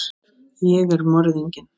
Ég er morðinginn.